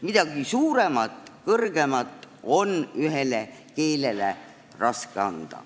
Midagi suuremat, mingit kõrgemat staatust on ühele keelele raske anda.